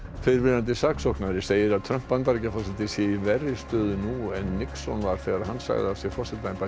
fyrrverandi saksóknari segir að Trump Bandaríkjaforseti sé í verri stöðu nú en Nixon þegar hann sagði af sér forsetaembætti